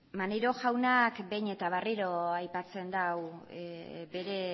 maneiro jaunak behin eta berriro aipatzen du bere